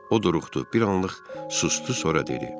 O duruxdu, bir anlıq sustu, sonra dedi: